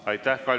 Aitäh!